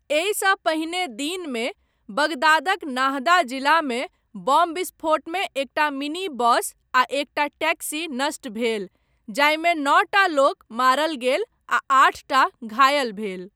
एहिसँ पहिने दिनमे, बगदादक नाहदा जिलामे बम विस्फोटमे एकटा मिनी बस आ एकटा टैक्सी नष्ट भेल, जाहिमे नौटा लोक मारल गेल आ आठटा घायल भेल।